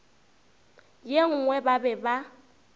ye nngwe ba be ba